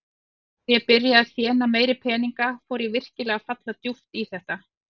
Þegar ég byrjaði að þéna meiri peninga fór ég virkilega að falla djúpt í þetta.